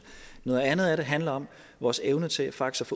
noget andet er at det handler om vores evne til faktisk